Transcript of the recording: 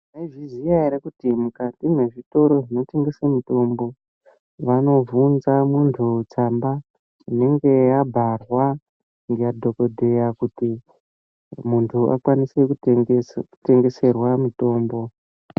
Mwaizviziya ere kuti mukati mezvitoro zvinotengese mitombo, vanovhunza muntu tsamba inenge yabharwa nadhokodheya kuti muntu akwanise kutengeserwa mitombo.